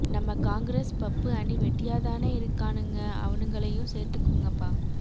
நம்ம காங்கிரஸ் பப்பு அணி வெட்டியா தானே இருக்கானுங்க அவனுங்களையும் சேர்த்துக்குங்கப்பா